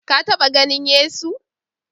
Ka taɓa ganin Yesu?